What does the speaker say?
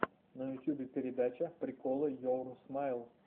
на ютубе передача приколы йоур смайл